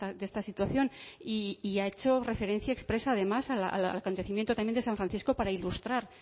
de esta situación y ha hecho referencia expresa además al acontecimiento también de san francisco para ilustrar